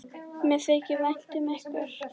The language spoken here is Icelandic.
Mér þykir vænt um ykkur.